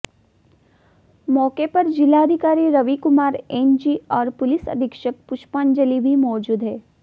मौके पर जिलाधिकारी रवि कुमार एनजी और पुलिस अधीक्षक पुष्पांजलि भी मौजूद हैं